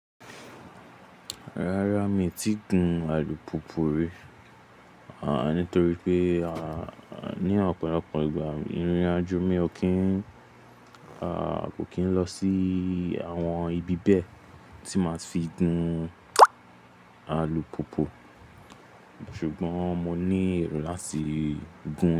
Rárá mi ò tíì gún alùpùpù rí, nítorí pé ní ọ̀pọ̀lọpọ̀ ìgbà ìrìnàjò mi, kò kín lọ sí àwọn ibi bẹ́ẹ̀ tí màá fi gún alùpùpù, ṣùgbọ́n mo ní èrò láti gún.